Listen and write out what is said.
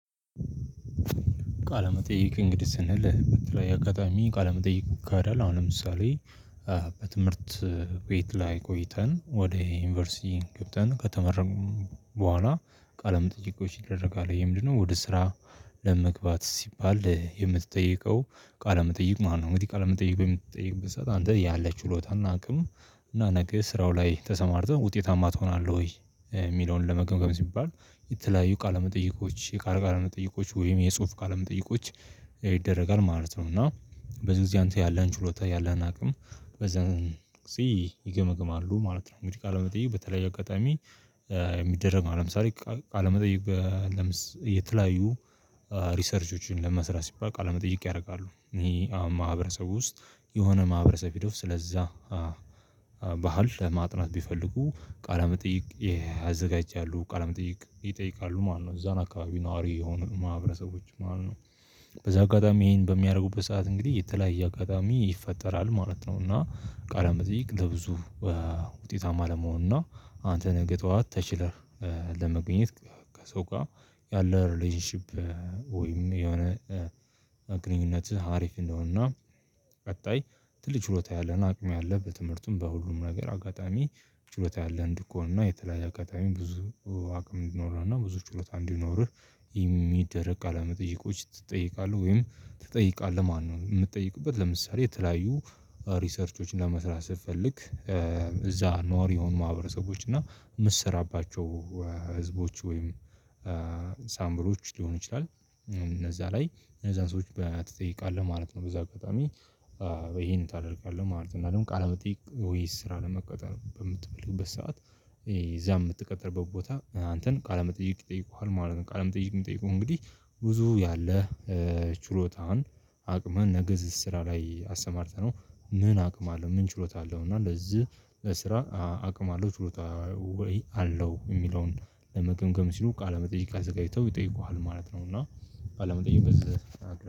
ቃለመጠይቅ እንግዲህ ስንል በተለይ አጋጣሚ ቃለመጠይቅ ገዳል አሁን ለምሳሌ በትምህርት ቤት ላይ ቆይተን ወደ ዩኒቨርሲቲ ገብተን ከተመረጡ በኋላ ቃለመጠይቆች ይደረጋል ይሄ ምንድነው ወደ ስራ ለመግባት ሲባል የምትጠይቀው ቃለመጠይቅ ማለት ነው። እንግዲህ ቃለመጠይቅ በምትጠይቅበት ሰዓት አንተ ያለህ ቺሎታና አናውቅም እና ነገ ስራው ላይ ተሰማርተን ውጤታማ ትሆናለህ ወይ? የሚለውን ለመገምገም ሲባል የተለያዩ ቃለ መጠይቆች ቃለ መጠይቆች ወይም የጽሁፍ ካለመጠየቆች ይደረጋል ማለት ነው። እና በዚህ ጊዜ አንተ ያለህን ችሎታ ያለህን አቅም በዛን እዚህ ይገመግማሉ ማለት ነው። እንግዲህ ቃለመጠየቅ በተለያየ አጋጣሚ። የሚደረግ ማለት ለምሳሌ ቃለመጠይቅ የተለያዩ ሪሰርቾችን ለመስራት ሲባል ቃለመጠይቅ ያደርጋሉ። እኔ አሁን ማህበረሰቡ ውስጥ የሆነ ማህበረሰብ ሂደው ስለዛ ባህል ለማጥናት ቢፈልጉ ቃለ መጠይቅ አዘጋጅቻለሁ ቃለ መጠይቅ ይጠይቃሉ ማለት ነው። እዛን አካባቢ ነዋሪ የሆኑ ማህበረሰቦች ማለት ነው። በዛ አጋጣሚ ይሄን በሚያደርጉበት ሰዓት እንግዲህ የተለያየ አጋጣሚ ይፈጠራል ማለት ነው። እና ቃለ መጠየቅ ለብዙ ውጤታማ ለመሆን እና አንተ ነህ በጥዋት ተችለህ ለመገኘት ከሰው ጋር ያለው ሪሌሽንሺፕ ወይም የሆነ ግንኙነትህ አሪፍ እንደሆነና። ቀጣይ ትልቅ ችሎታ ያለህ አቅም ያለህ በትምህርትም በሁሉም ነገር አጋጣሚ ችሎታ ያለህ እንድትሆንና የተለያየ አጋጣይ ብዙ አቅም እንዲኖረንና ብዙ ችሎታ እንዲኖርህ። የሚደረቅ ቃለ መጠየቆች ትጠየቃለህ ወይም ትጠይቃለህ ማነው? የምትጠይቁበት ለምሳሌ የተለያዩ ሪሰርቾች ለመስራት ስትፈልግ እዛ ነዋሪ የሆኑ ማህበረሰቦች እና የምትሰራባቸው ህዝቦች ወይም ሳምብሎች ሊሆን ይችላል። እነዛ ላይ እነዛን ሰዎች ትጠይቃለህ ማለት ነው። በዛ አጋጣሚ ይሄን ታደርጋለህ ማለት ነው። ቃል መጠየቅ ወይስ ስራ ለመቀጠል በምትፈልግበት ሰዓት የዛ የምትቀጥርበት ቦታ አንተን ቃለመጠየቅ ይጠይቁሃል ማለት ነው። ቃለመጠየቅ የሚጠይቁህ እንግዲህ ብዙ ያለህ ችሎታህን አቅምህን ነገ እዚህ ስራ ላይ አስተማርተነው ምን አቅም አለ ምን ችሎታ አለው። እና ለዚህ ለስራ አቅም አለው ችሎታ ወይ አለው የሚለውን ለመገንገም ሲሉ ቃለመጠየቅ አዘጋጅተው ይጠይቁሃል ማለት ነው። እና ቃለመጠየቅ በዛ